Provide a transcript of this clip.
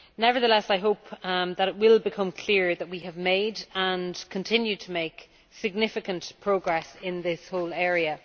Nevertheless I hope that it will become clear that we have made, and continue to make, significant progress in this whole area.